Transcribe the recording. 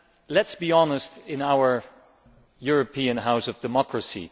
Let us be honest in our European house of democracy.